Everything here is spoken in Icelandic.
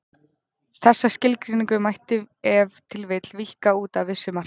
Þessa skilgreiningu mætti ef til vill víkka út að vissu marki.